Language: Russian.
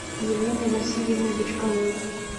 еленой васильевной бычковой